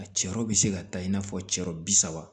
A cɛ yɔrɔ bɛ se ka ta i n'a fɔ cɛɔrɔ bi saba